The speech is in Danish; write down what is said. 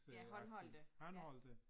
Ja, håndholdte. Ja